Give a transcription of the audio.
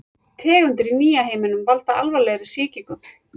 Tegundir í nýja heiminum valda alvarlegri sýkingum.